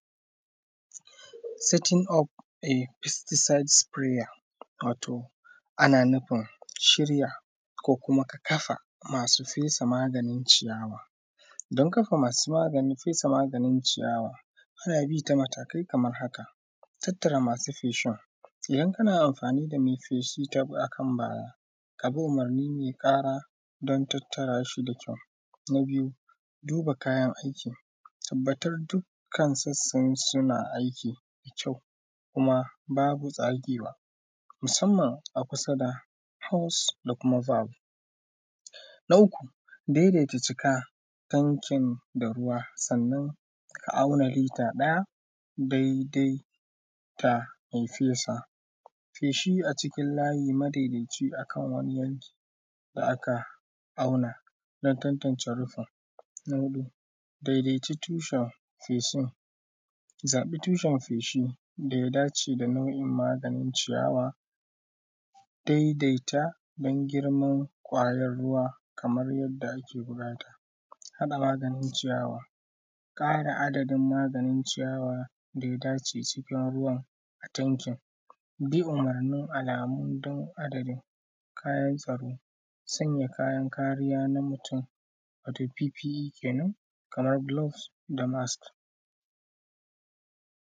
Satin of a fistisait sifiraya, wato ana nufin shirya ko kuma ka kafa masu fesa maganin ciyawa. Don kafa masu maganin fesa maganin ciyawa, don kafa ta, matakai kamar haka. Tattara masu feshin, idan ka na amfani da me fesha ta harƙan bayani, ka bi umurnin don me ƙara don tattara shi da kyau, na biyu, duba kayan akai, tabbatar dukkan su suna aiki, da kyau kuma babu tsagewa, musamman a kusa da haus da kuma babu ɗau daita cika ɗan kin da ruwa. Sannan, ka auna lita ɗaya dai-dai fai dan me fesa feshi a cikin layi madaidaci cikan wannan yanki da aka auna na tantance rufin daidaitacciya tushen feshin. Zaɓi tushen fesa da ya dace da na’u’in maganin ciyawa daidaita don girman kwayan ruwa, kamar yanda ake buƙata. Haɗa maganin ciyawa, ƙara adadin maganin ciyawa da ya dace cikin ruwan a tankin din, umurnin alamu ɗiin adadin kayansa. Sanya kayan kariya na mutum, wata bibi biyi kenan, kamar gilofs da mas.